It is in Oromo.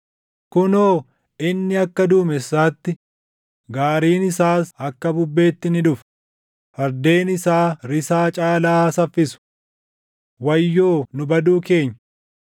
Kunoo, inni akka duumessaatti, gaariin isaas akka bubbeetti ni dhufa; fardeen isaa risaa caalaa saffisu. Wayyoo nu baduu keenya!